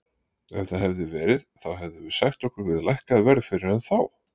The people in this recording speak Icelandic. Ef það hefði verið þá hefðum við sætt okkur við lækkað verð fyrir hann þá.